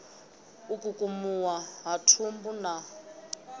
u kukumuwa ha thumbu na